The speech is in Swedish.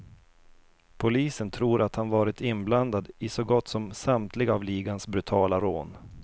Polisen tror att han varit inblandad i så gott som samtliga av ligans brutala rån.